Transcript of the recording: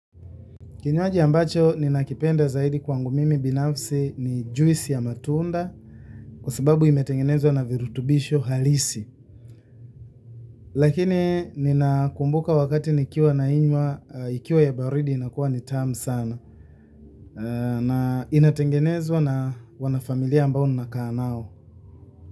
Kinywaji ambacho ninakipenda zaidi kwangu mimi binafsi ni juisi ya matunda kwa sababu imetengenezwa na virutubisho halisi. Lakini ninakumbuka wakati nikiwa nainywa, ikiwa ya baridi inakuwa ni tamu sana na inatengenezwa na wanafamilia ambao mnakaa nao.